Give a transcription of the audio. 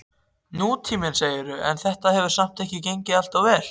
Nútíminn, segirðu, en þetta hefur samt ekki gengið alltof vel?